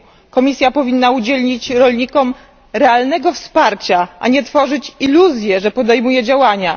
Komisja powinna udzielić rolnikom realnego wsparcia, a nie tworzyć iluzję, że podejmuje działania.